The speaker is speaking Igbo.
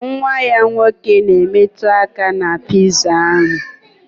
Nwa ya nwoke na-emetụ aka na piza ahụ